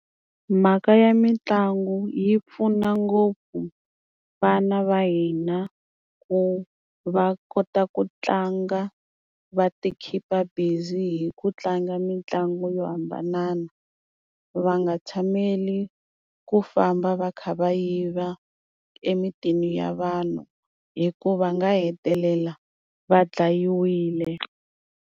Mhaka ya mitlangu yi pfuna ngopfu vana va hina ku va kota ku tlanga va ti khipa busy hi ku tlanga mitlangu yo hambanana va nga tshameli ku famba va kha va yiva emitini ya vanhu hi ku va nga hetelela va dlayiwile.